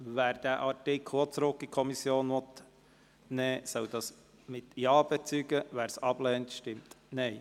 Wer auch diesen Artikel an die Kommission zurückweisen will, bezeuge dies mit Ja, wer dies ablehnt, mit Nein.